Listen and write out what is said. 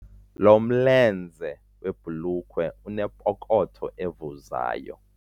Lo mlenze webhulukhwe unepokotho evuzayo.